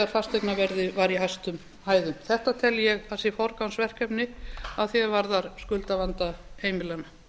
fasteignaverðið var í hæstu hæðum þetta tel ég að sé forgangsverkefni að því er varðar skuldavanda heimilanna